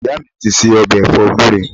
Ìyá mi ti ṣe ọ̀bẹ̀ ẹ̀fọ́ gúre